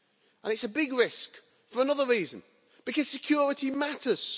And it's a big risk for another reason because security matters